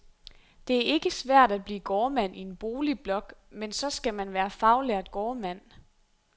Det er ikke svært at blive gårdmand i en boligblok, men så skal man være faglært gårdmand.